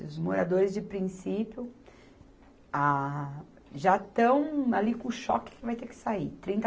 E os moradores de princípio, ah, já estão ali com o choque que vai ter que sair. Trinta